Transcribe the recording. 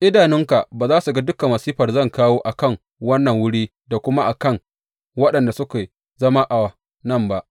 Idanunka ba za su ga dukan masifar da zan kawo a kan wannan wuri da kuma a kan waɗanda suke zama a nan ba.’